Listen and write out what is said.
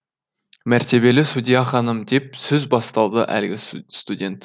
мәртебелі судья ханым деп сөз бастады әлгі студент